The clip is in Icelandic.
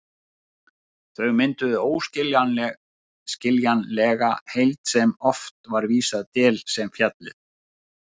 Þau mynduðu óaðskiljanlega heild sem oft er vísað til sem fjallið.